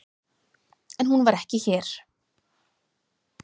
En hún var ekki hér.